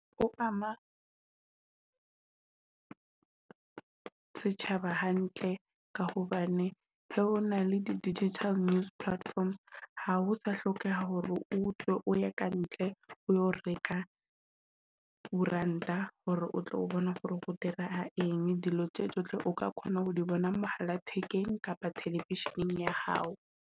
Ho ama setjhaba hantle ka hobane ha o na le di digital news platforms, ha ho sa hlokeha hore o tswe o ye kantle ho reka koeranta, hore o tlo bona hore ho dirahala eng. Dilo tje tsohle o ka kgona ho di bona mohala thekeng kapa television-eng ya hao.